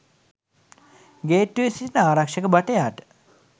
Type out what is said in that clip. ගේට්ටුවේ සිටින ආරක්ෂක භටයාට